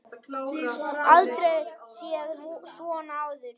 Aldrei séð svona áður.